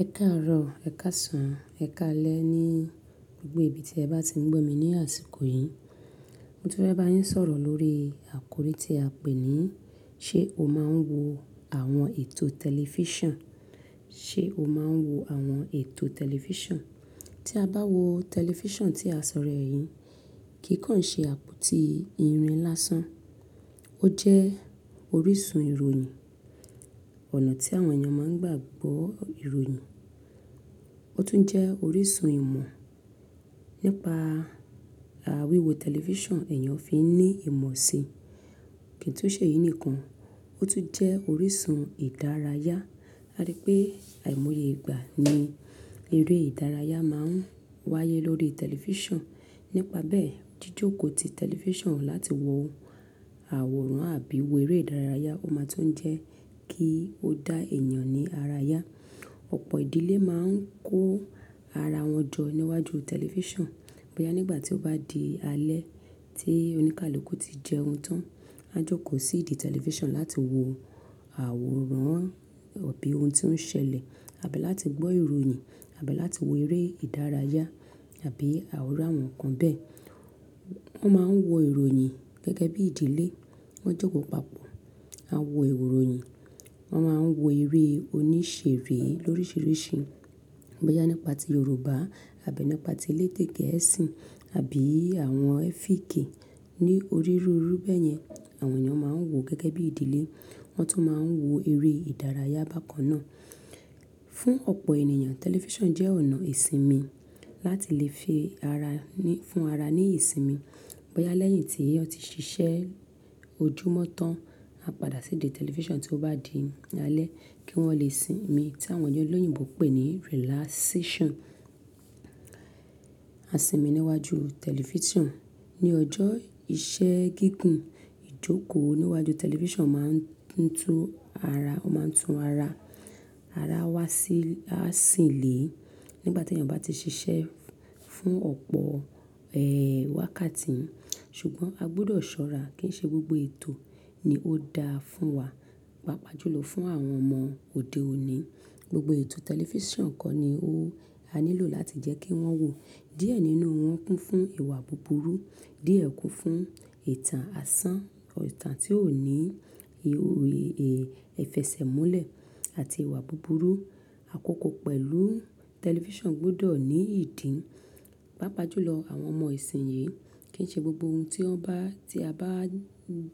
Ẹ káàárọ̀, ẹ̀ káàsán, ẹ̀ káalẹ́ ni gbogbo ibi tí ẹ bá ti ń gbọ́ mi ni àsìkò yìí. Motun fé bá yín sọ̀rọ̀ lórí àkòrí tí a pé ní ṣe o máa ń wo àwọn ètò tẹlifíṣàn, ṣe o máa ń wo àwọn ètò tẹlifíṣàn? Tí a bá wo tẹlifíṣàn tí a sọ rẹ́ yìí, kìi kàn ṣe àpótí irin lásán. Ó jẹ́ orísun ìròyìn, ọ̀nà tí àwọn èèyàn máa ń gbà gbọ́ ìròyìn. Ó tún jẹ́ orísun ìmọ̀, nípa à wíwo tẹlifíṣàn èèyàn fi ní ìmọ̀ si. Kìí tún ṣe yìí nìkan, ó tún jẹ́ orísun ìdárayá. A rípé àìmọye ìgbà ni eré ìdárayá máa ń wáyé lórí tẹlifíṣàn. Nípa bẹ́ẹ̀, jíjòkòó ti tẹlifíṣàn láti wo àwòrán àbí wò eré ìdárayá, ó máa tún jẹ́ kí ó dá èèyàn ní arayá. Ọ̀pọ̀ ìdílé máa ń kó ara wọn jọ níwájú tẹlifíṣàn. Bóyá nígbà tí ó bá di alẹ́ tí oníkálukú ti jẹun tán, a jòkó sí ìdí tẹlifíṣàn láti wo àwòrán àbí ohun tí ó ń ṣẹlẹ̀, àbí láti gbọ́ ìròyìn, àbí láti wo eré ìdárayá àbí àwòrán àwọn nǹkan bẹ́ẹ̀. Wọ́n máa ń wo ìròyìn gẹ́gẹ́ bí ìdílé, wọ́n jókòó papọ̀ wa wo ìròyìn. Wọ́n máa ń wo eré onísèrè lóríṣiríṣi. Bóyá nípa ti Yorùbá àbí nípa ti elédè Gẹ̀ẹ́sì àbí àwọn ẹ́fíkì ní orí rúru bẹ́ẹ̀ yẹn. Àwọn èèyàn máa ń wòó gẹ́gẹ́ bí ìdílé, wọ́n tún máa ń wo eré ìdárayá bákan náà. Fún ọ̀pọ̀ ènìyàn, tẹlifíṣàn jẹ́ ọ̀nà ìsinmi láti lè fi ara ní, fún ara ní ìsinmi. Boya lẹ́yìn tí won ti ṣiṣẹ́ ojúmọ́ tán, a padà sí ìdí tẹlifíṣàn tí ó bá di alẹ́ kí wọ́n lè sinmi tí àwọn ẹlẹ́yìnbo pè ní relaxation. A sinmi níwájú tẹlifíṣàn. Ni ọjọ́ iṣẹ́ gígùn, ìjòkó níwájú tẹlifíṣàn máa ń tún ara, ó máa ń tún ara, ara wa sí, a sìń lé. Nígbà tí èèyàn bá ti ṣiṣẹ́ fún ọ̀pọ̀, ẹ, wákàtí, ṣùgbọ́n a gbọdọ̀ ṣọ́ra kí n ṣe gbogbo ètò ni ó dáa fún wa. Paapaa jùlọ fún àwọn ọmọ òde òní, gbogbo ètò tẹlifíṣàn kọ́ ni ó, a nílò láti jẹ́ kí wọ́n wò. Díẹ̀ nínú wọn kún fún ìwà búburú, díẹ̀ kún fún ìtàn asán, ìtàn tí ò ní èè, ìfẹsẹ̀múlẹ̀ àti ìwà búburú. Àkókò pẹ̀lú tẹlifíṣàn gbọdọ̀ ní ìdí. Paapaa jùlọ àwọn ọmọ ìsìnyí, kí n ṣe gbogbo ohun tí wọn bá, tí a bá